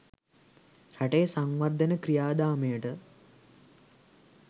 රටේ සංවර්ධන ක්‍රියාදාමයට